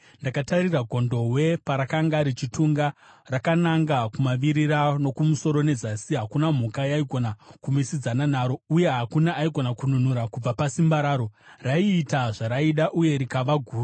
Ndakatarira gondobwe parakanga richitunga rakananga kumavirira nokumusoro nezasi. Hakuna mhuka yaigona kumisidzana naro, uye hakuna aigona kununura kubva pasimba raro. Raiita zvaraida uye rikava guru.